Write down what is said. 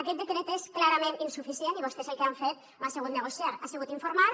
aquest decret és clarament insuficient i vostès el que han fet no ha sigut negociar ha sigut informar